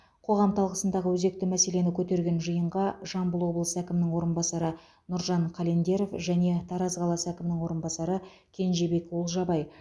қоғам талқысындағы өзекті мәселені көтерген жиынға жамбыл облысы әкімінің орынбасары нұржан календеров және тараз қаласы әкімінің орынбасары кенжебек олжабай